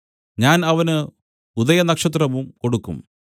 ഞാൻ അവന് ഉദയനക്ഷത്രവും കൊടുക്കും